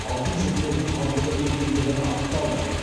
алтын жіптердің қалдығы екендігі анықталды